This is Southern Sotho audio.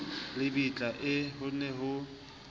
lebitla ee ho ne ho